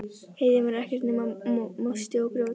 Heiðin var ekkert nema mosi og grjót.